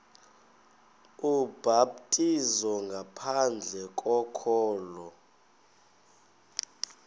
ubhaptizo ngaphandle kokholo